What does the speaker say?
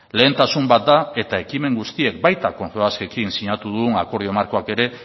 lehentasun bat da eta ekimen guztiek baita confebaskekin sinatu dugun akordio markoek ere